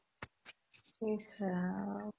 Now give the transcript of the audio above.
ইসৰাম